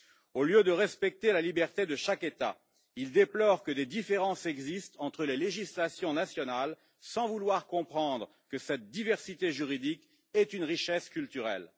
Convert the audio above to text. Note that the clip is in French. Au lieu de respecter la liberté de chaque État, il déplore que des différences existent entre les législations nationales, sans vouloir comprendre que cette diversité juridique est une richesse culturelle.